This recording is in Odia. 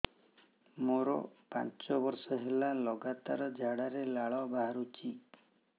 ମୋରୋ ପାଞ୍ଚ ବର୍ଷ ହେଲା ଲଗାତାର ଝାଡ଼ାରେ ଲାଳ ବାହାରୁଚି